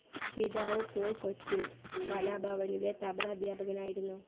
പിതാവ് പോൾ കൊച്ചിൻ കലാഭവനിലെ തബ്ല അധ്യാപകനായിരുന്നു.